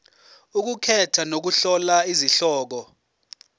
ukukhetha nokuhlola izihloko